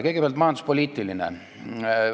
Kõigepealt, majanduspoliitiline etteheide.